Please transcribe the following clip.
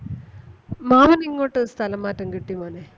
മാമന് ഇങ്ങോട്ട് സ്ഥലം മാറ്റം കിട്ടി മോനെ.